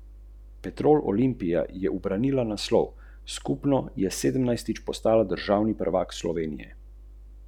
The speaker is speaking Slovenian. Velika.